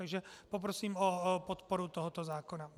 Takže poprosím o podporu tohoto zákona.